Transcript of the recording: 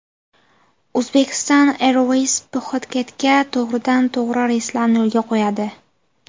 Uzbekistan Airways Pxuketga to‘g‘ridan to‘g‘ri reyslarni yo‘lga qo‘yadi.